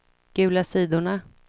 gula sidorna